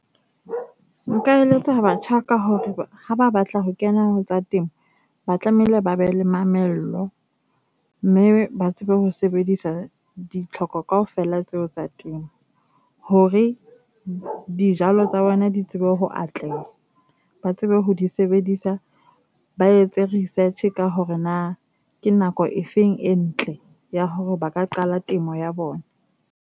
Nka eletsa batjha ka hore ha ba batla ho kena ho tsa temo, ba tlamehile ba be le mamello mme ba tsebe ho sebedisa ditlhoko kaofela tseo tsa teng hore dijalo tsa bona di tsebe ho atleha. Ba tsebe ho di sebedisa, ba etse research ka hore na ke nako e feng e ntle ya hore ba ka qala temo ya bona.